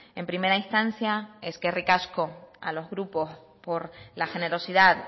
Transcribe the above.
en primera instancia eskerrik asko a los grupos por la generosidad